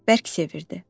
Bərk sevirdi.